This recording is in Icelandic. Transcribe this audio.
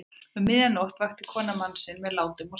Um miðja nótt vakti konan mann sinn með látum og sagði